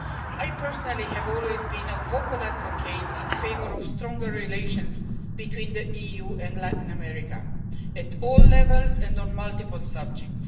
I personally have always been a vocal advocate in favour of stronger relations between the EU and Latin America, at all levels and on multiple subject.